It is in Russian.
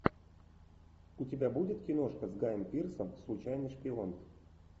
у тебя будет киношка с гаем пирсом случайный шпион